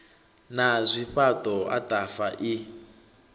na zwifhaṱo ataf a i